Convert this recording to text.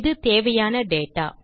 இதுவே தேவையான டேட்டா